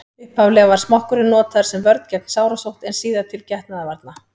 upphaflega var smokkurinn notaður sem vörn gegn sárasótt en síðar til getnaðarvarna